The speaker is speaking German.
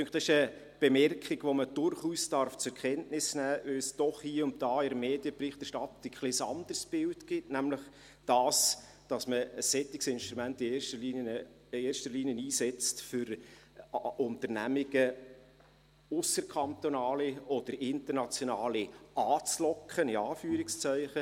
Mich dünkt, dies ist eine Bemerkung, die man durchaus zur Kenntnis nehmen darf, weil es doch ab und zu in der Medienberichterstattung ein bisschen ein anderes Bild gibt, nämlich, dass man ein solches Instrument in erster Linie einsetzt, um ausserkantonale oder internationale Unternehmen «anzulocken» – in Anführungszeichen.